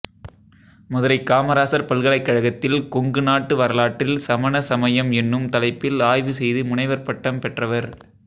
மதுரை காமராசர் பல்கலைக்கழகத்தில் கொங்கு நாட்டு வரலாற்றில் சமண சமயம் என்னும் தலைப்பில் ஆய்வு செய்து முனைவர் பட்டம் பெற்றவர்